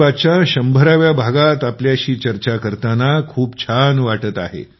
मन की बातच्या १०० व्या भागात आपल्याशी चर्चा करताना खूप छान वाटत आहे